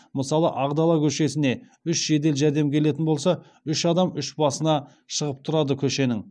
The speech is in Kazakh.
мысалы ақ дала көшесіне үш жедел жәрдем келетін болса үш адам үш басына шығып тұрады көшенің